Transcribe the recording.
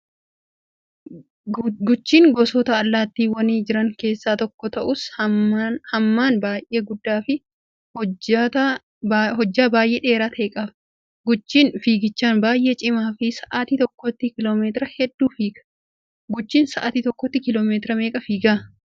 Guchiin gosoota allaattiiwwanii jiran keessaa tokko ta'us hammana baay'ee guddaa fi hojjata baay'ee dheeraa ta'e qaba. Guchiin fiigichaan baay'ee cimaa fi sa'aatii tokkotti kiiloomeetira hedduu fiiga. Guchiin sa'aatii tokkotti kiiloomeetira meeqa fiigaa?